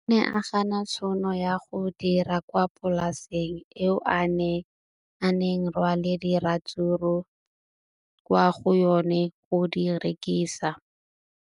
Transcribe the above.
O ne a gana tšhono ya go dira kwa polaseng eo a neng rwala diratsuru kwa go yona go di rekisa.